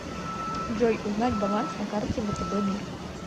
джой узнать баланс на карте втб мир